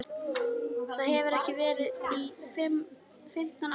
Það hefur ekki verið til í fimmtán ár!